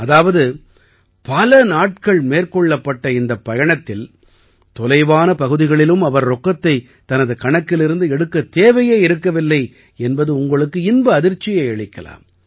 அதாவது பல நாட்கள் மேற்கொள்ளப்பட்ட இந்தப் பயணத்தில் தொலைவான பகுதிகளிலும் அவர் ரொக்கத்தைத் தனது கணக்கிலிருந்து எடுக்கத் தேவையே இருக்கவில்லை என்பது உங்களுக்கு இன்ப அதிர்ச்சியை அளிக்கலாம்